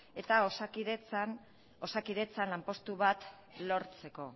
eta osakidetzan lanpostu bat lortzeko